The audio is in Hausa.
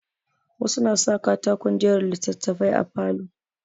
Wasu na sa katakon jera littattafai a falo.